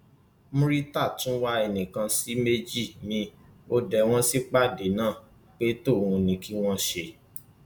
murità tún wá ẹnì kan sí méjì miín ó dé wọn sípàdé náà pé tòun ní kí wọn ṣe